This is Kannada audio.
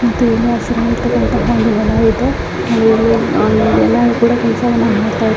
ಮತ್ತೆ ಇಲ್ಲಿ ಹಸಿರಾಗಿರ್ತಾಕ್ಕಂತಹ ಒಂದು ಹೊಲ ಇದೆ ಇಲ್ಲಿ ಆಹ್ ಕೆಲಸವನ್ನು ಮಾಡ್ತಾ ಇದ್ದಾರೆ.